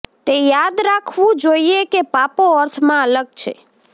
તે યાદ રાખવું જોઈએ કે પાપો અર્થમાં અલગ છે